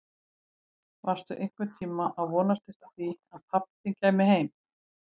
Varstu einhvern tíma að vonast eftir því að pabbi þinn kæmi heim aftur?